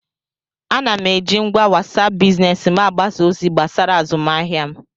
Ana m eji ngwa wasap biznes m agbasa ozi gbasara azụmahịa m